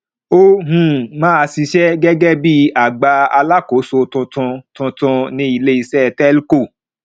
ó um ma ṣiṣẹ gẹgẹ bí agbà alákòóso tuntun tuntun ní iléiṣẹ telco